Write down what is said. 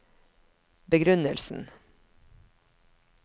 begrunnelsen